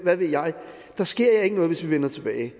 ved jeg der sker jer ikke noget hvis i vender tilbage